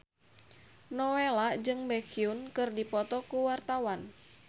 Nowela jeung Baekhyun keur dipoto ku wartawan